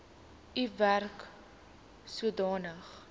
u werk sodanig